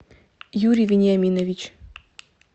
юрий вениаминович